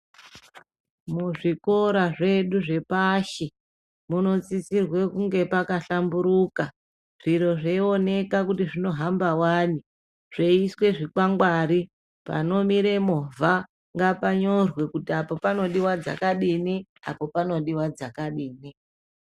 Muzvikora zvedu zvepashi munosisirwe kunge pakahlamburuka zviro zveyiioneka kuti zvinohamba wani zveyiiswe zvikwangwari panomira movha ngapanyorwe kuti apo panodiwa dzakadini apo panodiwa dzakadini.